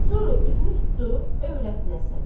Sonra üzünü tutdu övrətinə, Sən.